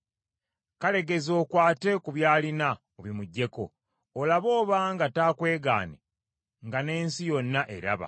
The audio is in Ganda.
Kale geza okwate ku by’alina obimuggyeko olabe nga taakwegaane nga n’ensi yonna eraba!”